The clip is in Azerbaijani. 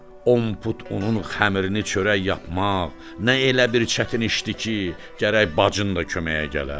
on put unun xəmirini çörək yapmaq, nə elə bir çətin işdir ki, gərək bacın da köməyə gələ?